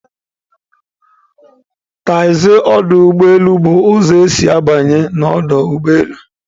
Taxi ọdụ ụgbọ elu bụ ụzọ isi banye na ọdụ ụgbọ elu